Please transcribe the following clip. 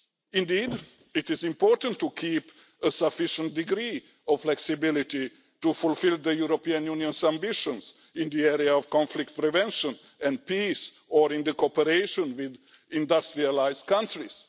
Indeed, it is important to keep a sufficient degree of flexibility to fulfil the European Union's ambitions in the area of conflict prevention and peace, or in our cooperation with industrialised countries.